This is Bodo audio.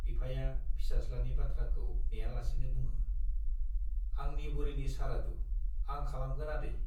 बिफाया फिसाज्लानि बाथ्राखौ नेयालासेनो बुङो, आंनि बुरिनि सारादु, आं खालामगोन आदै।